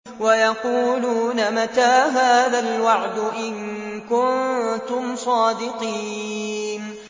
وَيَقُولُونَ مَتَىٰ هَٰذَا الْوَعْدُ إِن كُنتُمْ صَادِقِينَ